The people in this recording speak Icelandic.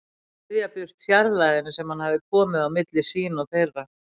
Ryðja burt fjarlægðinni sem hann hafði komið á milli sín og þeirra.